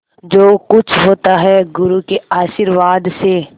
जो कुछ होता है गुरु के आशीर्वाद से